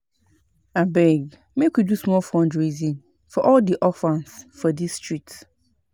Abeg make we do small fundraising for all di orphans for dis street